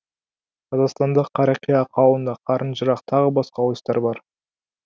қазақстанда қарақия қауынды қарынжарық тағы басқа ойыстар бар